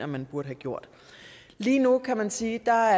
man burde have gjort lige nu kan man sige at